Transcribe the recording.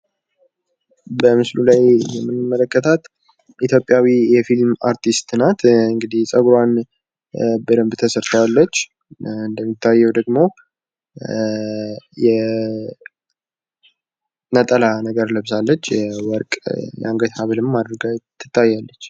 በምስሉ ላይ የምንመለከታት ኢትዮጵያዊ የፊልም አርቲስት ናት እንግዲህ ጸጉሯን በደንብ ተሰርታለች እንደሚታየው ደግሞ የነጠላ ነገር ለብሳለች። ወርቅ የአንገት ሀብልም አድርጋ ትታያለች።